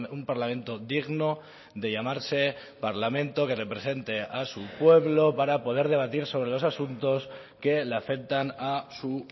un parlamento digno de llamarse parlamento que represente a su pueblo para poder debatir sobre los asuntos que le afectan a su